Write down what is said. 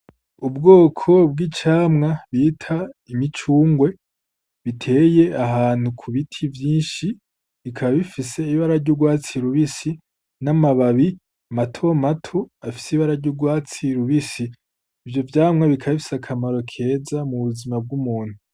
Ubwoko bw'icamwa bita imicungwe iteye ahantu ku biti vyinshi ikaba ifise ibara ry'urwatsi rubisi , n'amababi matomato afise ibara ry'urwatsi rubisi . Ivyo vyamwa bikaba bifise akamaro keza mu buzima bw'umuntu.